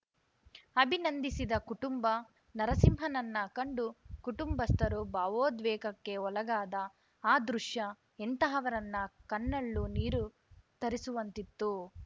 ಅಭಿನಂದಿಸಿದ ಕುಟುಂಬ ನರಸಿಂಹನನ್ನ ಕಂಡು ಕುಟುಂಬಸ್ಥರು ಭಾವೋದ್ವೇಗಕ್ಕೆ ಒಳಗಾದ ಆ ದೃಶ್ಯ ಎಂತಹವರನ್ನ ಕಣ್ಣಲ್ಲು ನೀರು ತರಿಸುವಂತಿತ್ತು